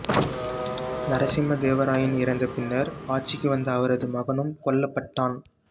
நரசிம்ம தேவ ராயன் இறந்த பின்னர் ஆட்சிக்கு வந்த அவரது மகனும் கொல்லப்பட்டான்